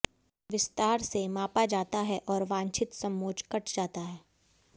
विस्तार से मापा जाता है और वांछित समोच्च कट जाता है